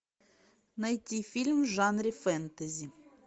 найти фильм в жанре фэнтези